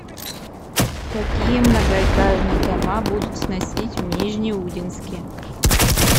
какие многоэтажные дома будут сносить в нижнеудинске